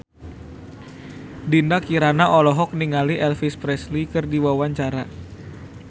Dinda Kirana olohok ningali Elvis Presley keur diwawancara